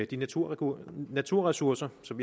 de naturressourcer naturressourcer som